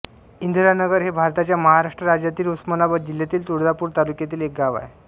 इंदिरानगर हे भारताच्या महाराष्ट्र राज्यातील उस्मानाबाद जिल्ह्यातील तुळजापूर तालुक्यातील एक गाव आहे